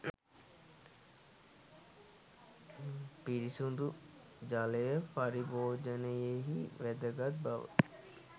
පිරිසිදු ජලය පරිභෝජනයෙහි වැදගත් බව